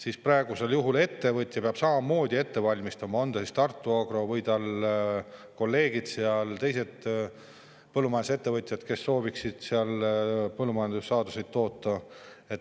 Aga praegusel juhul peab ettevõtja samamoodi ette valmistama, on see siis Tartu Agro või tema kolleegid, teised põllumajandusettevõtjad, kes sooviksid seal põllumajandussaadusi toota.